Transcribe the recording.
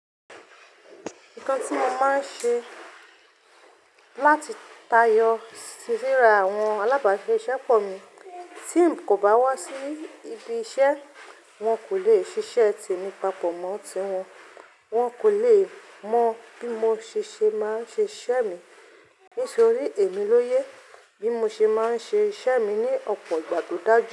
Nǹkan tí mo máa ń ṣe láti tayọ sí ríra àwọn alábàáṣẹ ìṣe pọ̀ mí. Tí n kò bá wá sí ibi iṣẹ́, wọn kò lè ṣiṣẹ́ tèmi papọ̀ mọ́ ti wọn. Wọn kò lè mọ bí mo ṣe ṣe máa ń ṣe iṣẹ́ mi. Nítorí èmi ló yé bí mo ṣe máa ń ṣe iṣẹ́ mi ní ọ̀pọ̀ ìgbà tó dáju.